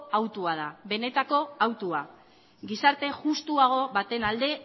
hautua da benetako hautua gizarte justuago baten alde